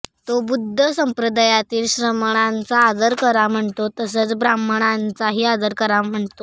तो बुद्ध संप्रदायातील श्रमणांचा आदर करा म्हणतो तसंच ब्राह्मणांचाही करा म्हणतो